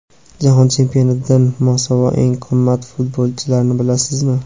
Jahon chempionatidan mosuvo eng qimmat futbolchilarni bilasizmi?.